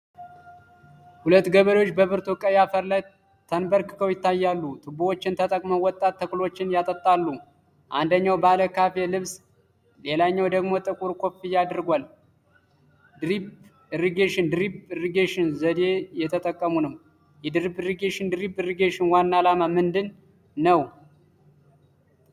ሁለት ገበሬዎች በብርቱ ቀይ አፈር ላይ ተንበርክከው ይታያሉ። ቱቦዎችን ተጠቅመው ወጣት ተክሎችን ያጠጣሉ። አንደኛው ባለ ካሬ ልብስ ሌላኛው ደግሞ ጥቁር ኮፍያ አድርጓል። ድሪፕ ኢሪጌሽን (ድሪፕ ኢሪጌሽን) ዘዴ እየተጠቀሙ ነው። የድሪፕ ኢሪጌሽን (ድሪፕ ኢሪጌሽን) ዋና ዓላማ ምንድን ነው?